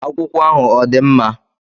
Akwụkwọ ahụ ọ dị mma?